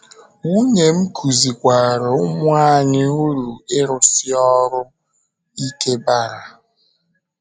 Nwunye m kụzikwaara ụmụ anyị uru ịrụsi ọrụ ike bara.